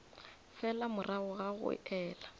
fela morago ga go ela